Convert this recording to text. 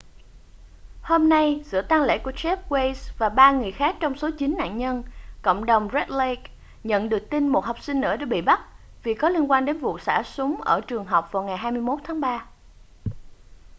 hôm nay giữa tang lễ của jeff weise và ba người khác trong số chín nạn nhân cộng đồng red lake nhận được tin một học sinh nữa đã bị bắt vì có liên quan đến vụ xả súng ở trường học vào ngày 21 tháng 3